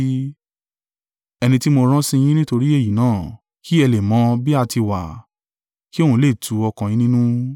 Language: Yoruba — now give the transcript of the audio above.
Ẹni tí mo rán sí yín nítorí èyí náà, kí ẹ lè mọ̀ bí a tí wà, kì òun lè tu ọkàn yín nínú.